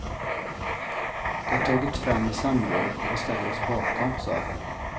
Det har tagits fram i samråd och vi ställer oss bakom, sa han.